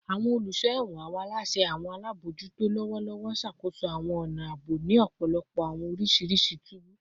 Awọn oluso ẹwọn / awọn alaṣẹ / awọn alabojuto lọwọlọwọ n ṣakoso awọn ọna aabo ni ọpọlọpọ awọn oriṣi tubu